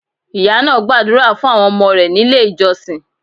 Ìyá náà gbàdúrà fún àwọn ọmọ rẹ̀ nílé ìjọsìn.